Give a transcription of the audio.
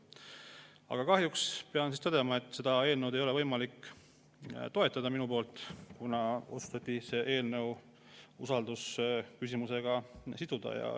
Aga kahjuks pean tõdema, et seda eelnõu ei ole mul võimalik toetada, kuna see otsustati siduda usaldusküsimusega.